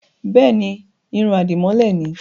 Bẹ́ẹ̀ni, irun àdìmọ́lẹ̀ ni.